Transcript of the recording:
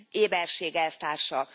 Éberség, elvtársak!